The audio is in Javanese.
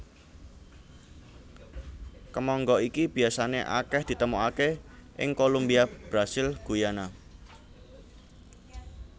Kemangga iki biasané akèh ditemokaké ing Kolumbia Brasil Guyana